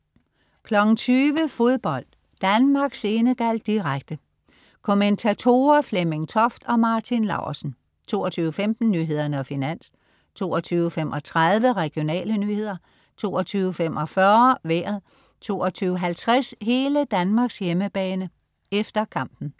20.00 Fodbold: Danmark-Senegal, direkte. Kommentatorer: Flemming Toft og Martin Laursen 22.15 Nyhederne og Finans 22.35 Regionale nyheder 22.45 Vejret 22.50 Hele Danmarks hjemmebane, efter kampen